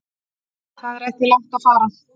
Það er ekki langt að fara.